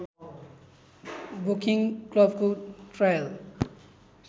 Woking क्लबको trial